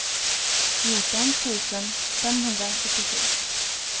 fjorton tusen femhundrafyrtiosju